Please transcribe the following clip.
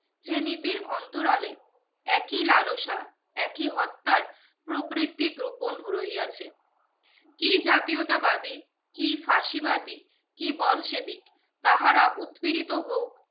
যে নীতির অন্তরালে একই লালসা একই হত্যার প্রবৃত্তি গোপন রহিয়াছে কি জাতীয়তাবাদী কি ফাঁসিবাদী কি বল সেবিক তাহারা উৎপীড়িত হোক